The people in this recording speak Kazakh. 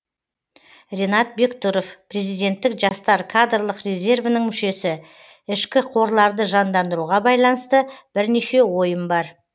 ренат бектұров президенттік жастар кадрлық резервінің мүшесі ішкі қорларды жандандыруға байланысты бірнеше ойым бар